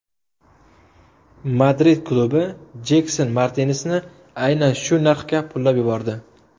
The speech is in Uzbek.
Madrid klubi Jekson Martinesni aynan shu narxga pullab yubordi.